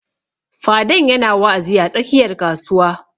Fadan ya na wa'azi a tsakiyar kasuwa